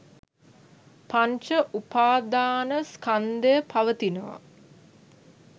පංච උපාදාන ස්කන්ධය පවතිනවා